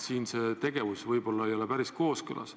Selline tegevus võib-olla ei ole päris kooskõlas.